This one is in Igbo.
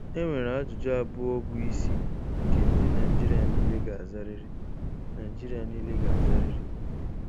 Enwere ajụjụ abụọ bụ isi nke ndị Naijiria niile ga-azarịrị. Naijiria niile ga-azarịrị.